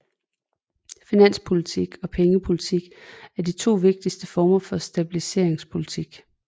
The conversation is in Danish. Finanspolitik og pengepolitik er de to vigtigste former for stabiliseringspolitik